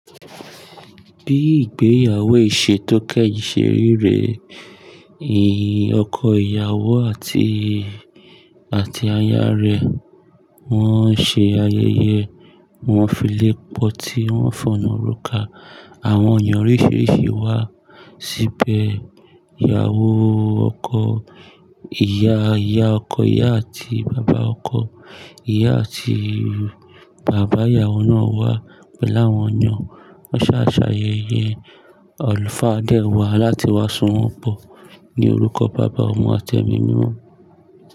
Bí ìgbéyàwó ìṣe tó kẹ́yìn ṣe rí rẹ, ìyín ọkọ ìyàwó àti, àti aya rẹ̀ wọ́n ṣe ayẹyẹ. Wọ́n filé pọ́tí wọ́n fọ̀nà róka. Àwọn ènìyàn oríṣiríṣi wá síbẹ̀. Ìyàwó ọkọ, ìyá ìyá ọkọ ìyá àti bàbá ọkọ. Ìyá àti bàbá ìyàwó náà wá pẹ̀lú àwọn èeyàn. Won ṣàà ṣàyẹ̀yẹ, àlùfáà dé wá láti wá sowọ́n pó. Ni orúkọ bàbá, ọmọ àti ẹ̀mí mimo.